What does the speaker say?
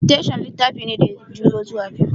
Adaftashan littafi ne da ya juya zuwa fim.